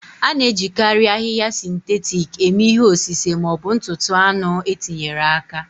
A na-ejikarị ahịhịa sịntetik eme ihe osise ma ọ bụ ntụtụ anụ e tinyere aka.